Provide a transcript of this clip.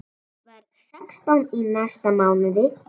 Verð sextán í næsta mánuði.